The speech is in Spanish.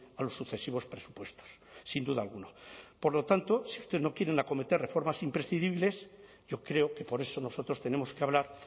a los sucesivos presupuestos sin duda alguna por lo tanto si ustedes no quieren acometer reformas imprescindibles yo creo que por eso nosotros tenemos que hablar